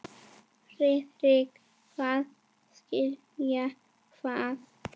Friðrik hváði: Skilja hvað?